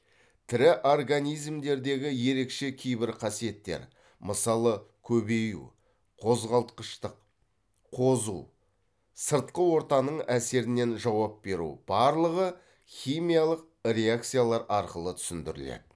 тірі организмдердегі ерекше кейбір қасиеттер мысалы көбею қозғалтқыштық қозу сыртқы ортаның әсеріне жауап беру барлығы химиялық реакциялар арқылы түсіндіріледі